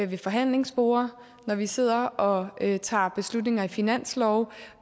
ved forhandlingsbordet og når vi sidder og tager beslutninger i finanslove